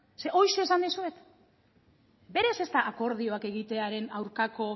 zeren horixe esan dizuet berez ez da akordioak egitearen aurkako